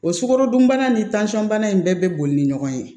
O sukarodunbana ni bana in bɛɛ bɛ boli ni ɲɔgɔn ye